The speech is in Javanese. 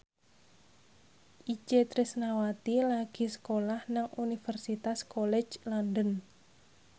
Itje Tresnawati lagi sekolah nang Universitas College London